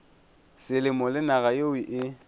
selemo le naga yeo e